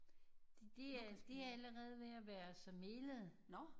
De er de er allerede ved at være så melet